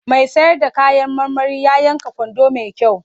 Mai sayar da kayan marmari ya yanka gwanda mai kyau.